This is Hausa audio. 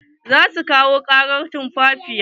Za su kawo ƙarin tumfafiya.